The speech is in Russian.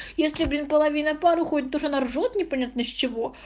если блин половина пар уходит потому что она ржёт не понятно с чего